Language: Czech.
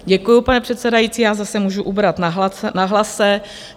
Děkuji, paní předsedající, já zase můžu ubrat na hlase.